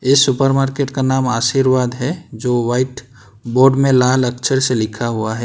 इस सुपरमार्केट का नाम आशीर्वाद है जो वाइट बोर्ड में लाल अक्षर से लिखा हुआ है।